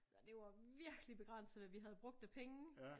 Det var virkelig begrænset hvad vi havde brugt af penge